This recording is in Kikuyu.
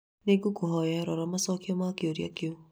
nĩ ngũkũhoya rora macokio ma kĩũria kĩu